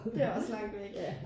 Det også langt væk